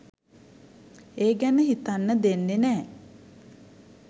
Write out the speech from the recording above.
ඒ ගැන හිතන්න දෙන්නෙ නෑ.